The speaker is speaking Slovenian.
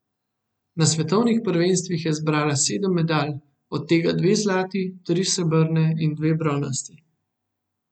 Na svetovnih prvenstvih je zbrala sedem medalj, od tega dve zlati, tri srebrne in dve bronasti.